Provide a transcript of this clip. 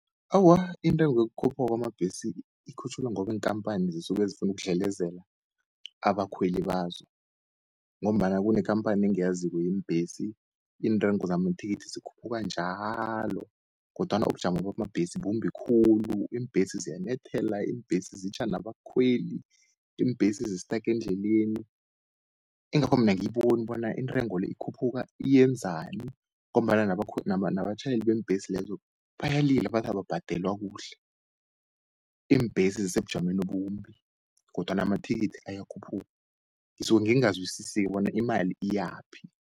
Awa intengo yokukhuphuka kwamabhesi ikhutjhulwa ngobi iinkampani zisuke zifuna ukudlelezela abakhweli bazo, ngombana kunekampani engiyaziko yebhesi, iintrengo zamathikithi zikhuphuka njalo, kodwana ubujamo bamabhesi bumbi khulu. Iimbhesi ziyanyathela, iimbhesi zitjha nabakhweli, iimbhesi zistake endleleni. Engakho mina angiyibona bona iintrengo le, ikhuphuka iyenzani ngombana nabatjhayeli beembhesi lezo, bayalila bathi ababhadelwa kuhle. Iimbhesi zisebujameni obumbi, kodwana amathikithi ayakhuphuka ngisuke ngingazwisise-ke bona imali iyaphi.